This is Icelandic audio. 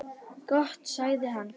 Gott sagði hann.